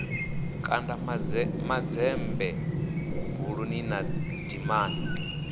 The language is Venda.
kanda manzemba buluni na dimani